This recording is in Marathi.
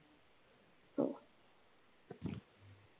हम्म